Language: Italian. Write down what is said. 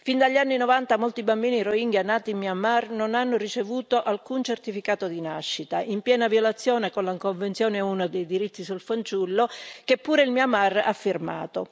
Fin dagli anni '90 molti bambini rohingya nati in Myanmar non hanno ricevuto alcun certificato di nascita, in piena violazione della convenzione ONU sui diritti sul fanciullo, che pure il Myanmar ha firmato.